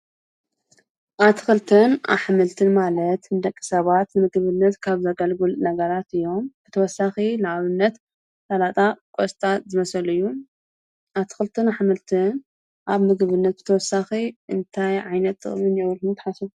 ኣትኽልትን ኣሕምልትን ማለት ንደቂ ሰባት ምግብነት ካብ ዘገልግል ነገራት እዮም። ብተወሳኺ ንኣብነት ሰላጣ ፣ቈስጣት ዝኣመሰሉ እዩ። ኣትኽልትን ኣኃምልትን ኣብ ምግብነት ብተወሳኺ እንታይ ዓይነት ጥቅሚ ኣለዎ ኢልኩም ትሓስቡ?